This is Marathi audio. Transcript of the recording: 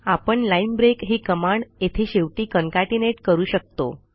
आपण लाईन ब्रेक ही कमांड येथे शेवटी कॉन्केटनेट करू शकतो